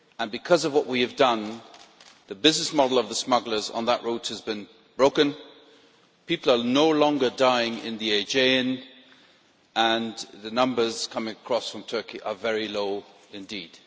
Because of what we have done, the business model of the smugglers on that road has been broken, people are no longer dying in the Aegean, and the numbers coming across from Turkey are very low indeed.